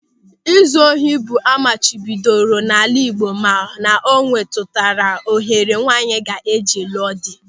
Ịzụ ohi bụ ịhe amachibidoro n'ala Igbo ma ọ na-emetuta ohere nwaanyị ga-eji lụọ dị.